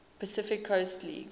pacific coast league